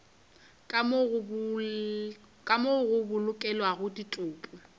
ka moo go bolokelwago ditopo